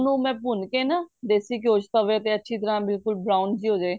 ਮੈਂ ਭੁੰਨ ਕੇ ਨਾ ਦੇਸੀ ਘਿਉ ਚ ਤਵੇ ਤੇ ਅੱਛੀ ਤਰ੍ਹਾਂ ਬਿਲਕੁਲ brown ਜੀ ਹੋਜੇ